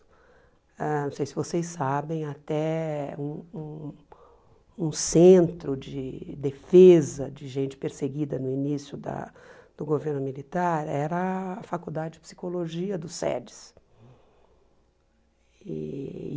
Ãh não sei se vocês sabem, até um um centro de defesa de gente perseguida no início da do governo militar era a faculdade de psicologia do SEDES e.